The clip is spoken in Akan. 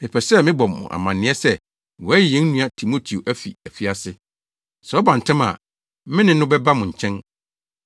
Mepɛ sɛ mebɔ mo amanneɛ sɛ wɔayi yɛn nua Timoteo afi afiase. Sɛ ɔba ntɛm a, me ne no bɛba mo nkyɛn.